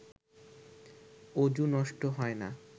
অযু নষ্ট হয় না